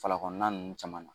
Falakɔnɔnna ninnu caman.